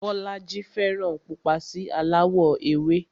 Bọ́lájí fẹ́ràn pupa sí aláwọ̀ ewé